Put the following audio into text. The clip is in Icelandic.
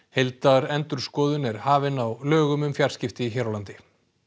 heildarendurskoðun er hafin á lögum um fjarskipti hér á landi